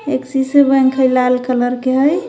Axis bank है लाल colour के है.